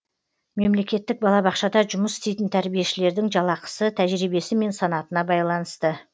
мемлекеттік балабақшада жұмыс істейтін тәрбиешілердің жалақысы тәжірибесі мен санатына байланысты